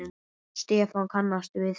Stefán kannast við það.